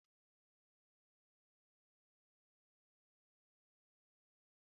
Enwere ike iji azụ ma ọ bụ anụ ewu mee ofe ose.